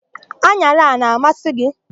An̄ara a na-amasị gị?